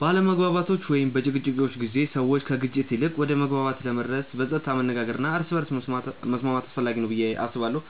በአለመግባባቶች ወይም በጭቅጭቆች ጊዜ ሰዎች ከግጭት ይልቅ ወደ መግባባት ለመድረስ በጸጥታ መነጋገር እና እርስ በርስ መስማት አስፈላጊ ነው ብዬ አስባለሁ።